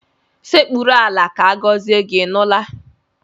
Sekpuru ala ka agọzie gị, ị nụla?